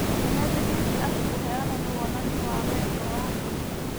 Nĩmetĩkĩtie atĩ kũheana nĩ wonania wa wendo wa ma.